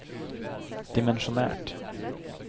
dimensjonert